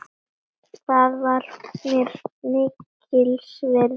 Það var mér mikils virði.